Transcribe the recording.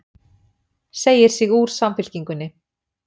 Segir sig úr Samfylkingunni